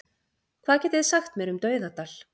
Hvað getið þið sagt mér um Dauðadal?